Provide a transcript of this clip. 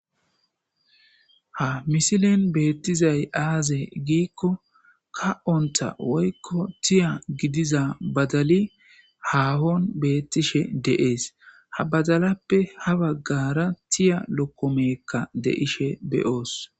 Ha misilen beettizay aaze giikko ka'onta woykko tiya gidiza badali haahon beettishe deees ha badalappe ha baggara tiya lokkomekka deishe beyoos.